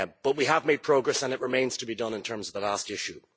We have made progress, and it remains to be done in terms of the last issue.